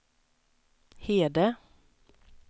Hede